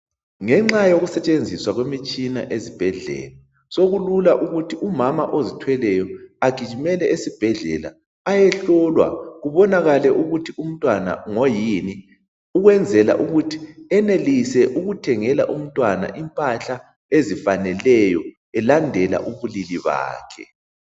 Ngenxa yokusetshenziswa kwemitshina ezibhedlela sokulula ukuthi umama ozithweleyo agijimele esibhedlela ayohlolwa kubonakale ukuthi umntwana ngoyini ukwenzela ukuthi enelise ukuthengela umntwana impahla ezifaneleyo elandela ubulili bakhe.